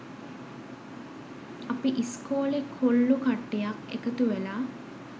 අපි ඉස්කෝලෙ කොල්ලො කට්ටියක් එකතු වෙලා